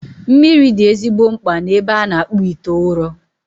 Mmiri dị ezigbo mkpa n'ebe a na-akpụ ite ụrọ